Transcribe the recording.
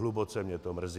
Hluboce mě to mrzí.